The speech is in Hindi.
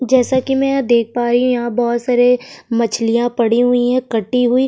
जैसा कि मैं देख पा रही हूं यहां बोहोत सारे मछलियां पड़ी हुई है कटी हुई।